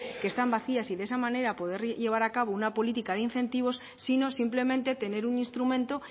que están vacías y de esa manera poder llevar a cabo una política de incentivos sino simplemente tener un instrumento